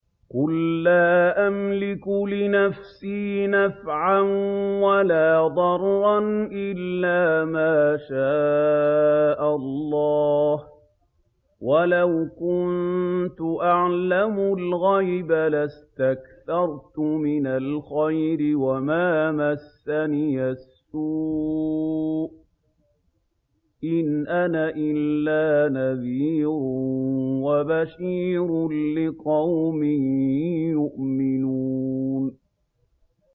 قُل لَّا أَمْلِكُ لِنَفْسِي نَفْعًا وَلَا ضَرًّا إِلَّا مَا شَاءَ اللَّهُ ۚ وَلَوْ كُنتُ أَعْلَمُ الْغَيْبَ لَاسْتَكْثَرْتُ مِنَ الْخَيْرِ وَمَا مَسَّنِيَ السُّوءُ ۚ إِنْ أَنَا إِلَّا نَذِيرٌ وَبَشِيرٌ لِّقَوْمٍ يُؤْمِنُونَ